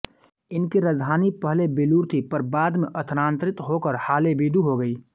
इनकी राजधानी पहले बेलूर थी पर बाद में स्थानांतरित होकर हालेबिदु हो गई